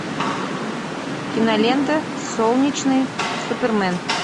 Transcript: кинолента солнечный супермен